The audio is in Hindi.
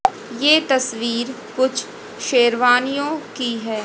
ये तस्वीर कुछ शेरवानियों की है।